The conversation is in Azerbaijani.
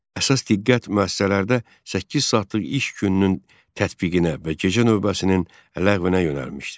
Əsas diqqət müəssisələrdə səkkiz saatlıq iş gününün tətbiqinə və gecə növbəsinin ləğvinə yönəlmişdi.